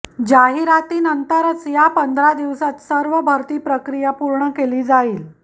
जाहिरातीनंतरच्या पंधरा दिवसांत सर्व भरती प्रक्रिया पूर्ण केली जाईल